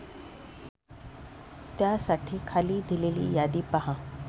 त्यासाठी खाली दिलेली यादी पहा.